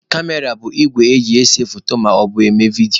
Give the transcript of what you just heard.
kamera bụ igwe eji ese foto maọbụ eme vidio.